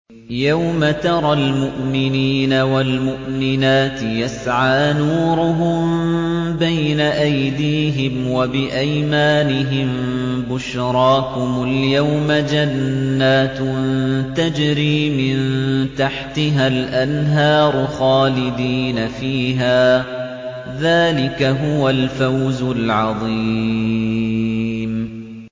يَوْمَ تَرَى الْمُؤْمِنِينَ وَالْمُؤْمِنَاتِ يَسْعَىٰ نُورُهُم بَيْنَ أَيْدِيهِمْ وَبِأَيْمَانِهِم بُشْرَاكُمُ الْيَوْمَ جَنَّاتٌ تَجْرِي مِن تَحْتِهَا الْأَنْهَارُ خَالِدِينَ فِيهَا ۚ ذَٰلِكَ هُوَ الْفَوْزُ الْعَظِيمُ